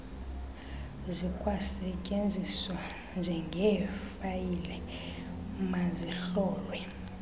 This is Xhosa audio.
zikwasetyenziswa njengeefayile mazihlolwe